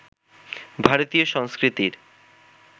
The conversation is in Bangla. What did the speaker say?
ভারতীয় সংস্কৃতির